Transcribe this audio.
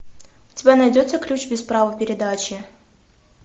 у тебя найдется ключ без права передачи